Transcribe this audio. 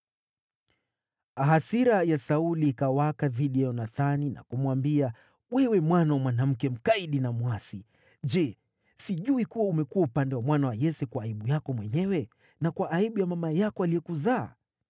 Hasira ya Sauli ikawaka dhidi ya Yonathani na kumwambia, “Wewe mwana wa mwanamke mkaidi na mwasi! Je, sijui kuwa umekuwa upande wa mwana wa Yese kwa aibu yako mwenyewe na kwa aibu ya mama yako aliyekuzaa?